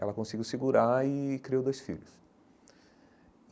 Ela conseguiu segurar e criou dois filhos.